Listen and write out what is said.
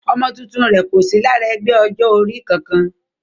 Ọmọ tuntun rẹ̀ kò sí lára ẹgbẹ́ ọjọ́ orí kankan